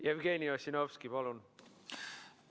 Jevgeni Ossinovski, palun!